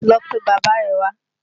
Lọ pe bàbá rẹ̀ wá!